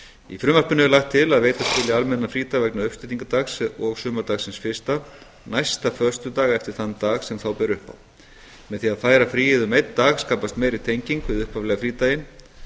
í frumvarpinu er lagt til að veita skuli almenna frídaga vegna uppstigningardags og sumardagsins fyrsta næsta föstudag eftir þann dag sem þá ber upp á með því að færa fríið um einn dag skapast meiri tenging við upphaflega frídaginn